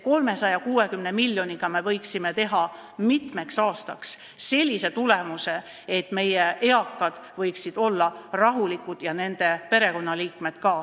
360 miljoniga me võime saada mitmeks aastaks sellise tulemuse, et meie eakad võiksid olla rahulikud ja nende perekonnaliikmed ka.